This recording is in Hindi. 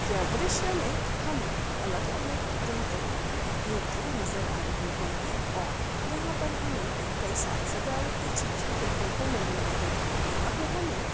द्रीश्य मे हमे अलग-अलग तरह-तरह की मूर्तिया नजर आ रही है और यहा पर हमे कई साथ सजाबत के चीज भी देखने को मिल रहा है यहा पे हमे--